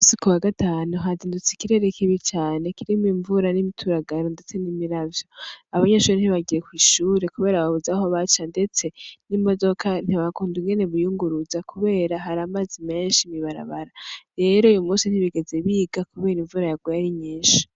Uyumusi kuwagatanu hazindutse ikirere kibi cane kirimw'imvura, n'imituragaro, ndetse n'imiravyo ,abanyeshure ntibagiye kw'ishure kubera babuze aho baca, ndetse n'imodoka ntihand' ingene biyunguruza, kubera har'amazi menshi mw'ibarabara, rero uyumusi ntibigeze biga kubera imvura yaguye ari nyinshi.